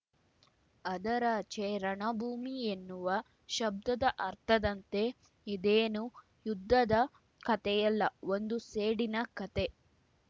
ಅದರಾಚೆ ರಣಭೂಮಿ ಎನ್ನುವ ಶಬ್ದದ ಅರ್ಥದಂತೆ ಇದೇನು ಯುದ್ಧದ ಕತೆಯಲ್ಲ ಒಂದು ಸೇಡಿನ ಕತೆ